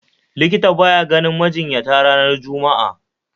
Likita baya ganin majinyata ranar Juma'a